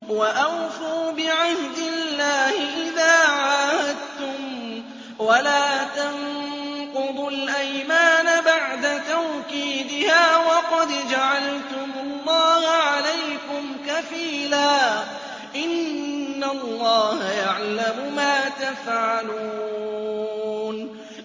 وَأَوْفُوا بِعَهْدِ اللَّهِ إِذَا عَاهَدتُّمْ وَلَا تَنقُضُوا الْأَيْمَانَ بَعْدَ تَوْكِيدِهَا وَقَدْ جَعَلْتُمُ اللَّهَ عَلَيْكُمْ كَفِيلًا ۚ إِنَّ اللَّهَ يَعْلَمُ مَا تَفْعَلُونَ